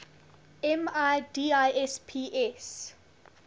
mi disp s